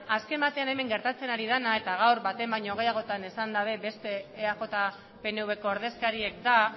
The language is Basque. azken batean hemen gertatzen ari dena eta gaur baten baino gehiagotan esan dute beste eaj pnvko ordezkariek da